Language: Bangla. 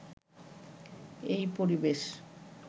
এই পরিবেশ